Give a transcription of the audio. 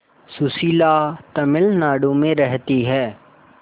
सुशीला तमिलनाडु में रहती है